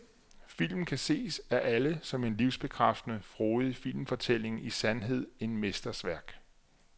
Filmen kan ses af alle som en livsbekræftende, frodig filmfortælling, i sandhed en mesters værk.